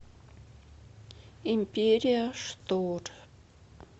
империя штор